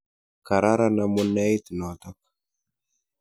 Kararan amuneit notok.